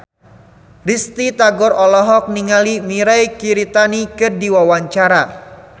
Risty Tagor olohok ningali Mirei Kiritani keur diwawancara